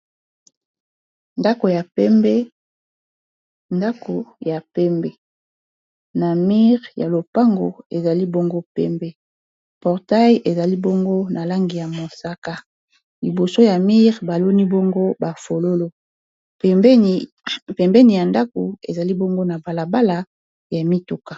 ndako ya pembe na mire ya lopango ezali bongo pembe portail ezali bongo na lange ya mosaka liboso ya mire baloni bongo bafololo pembeni ya ndako ezali bongo na balabala ya mituka